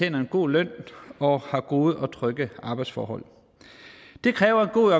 en god løn og har gode og trygge arbejdsforhold det kræver en god